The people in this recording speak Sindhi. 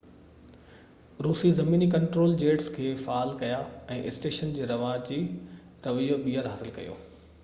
روسي زميني ڪنٽرول جيٽس کي فعال ڪيا ۽ اسٽيشن جو رواجي رويو ٻيهر حاصل ڪيو